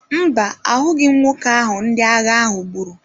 Mba, ahụghị m nwoke ahụ ndị agha ahụ gburu.